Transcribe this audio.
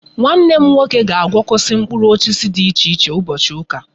Nwanne m nwoke ga agwokosi mkpuru osisi di iche iche ubochi uka